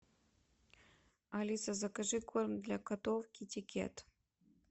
алиса закажи корм для котов китикет